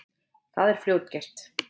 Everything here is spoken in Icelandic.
Það er fljótgert.